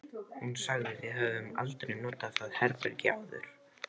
Hún sagði: Við höfum aldrei notað það herbergi áður